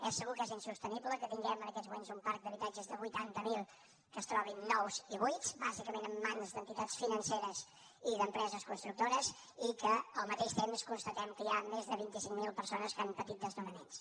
és segur que és insostenible que tinguem en aquests moments un parc d’habitatges de vuitanta mil que es trobin nous i buits bàsicament en mans d’entitats financeres i d’empreses constructores i que al mateix temps constatem que hi ha més de vint i cinc mil persones que han patit desnonaments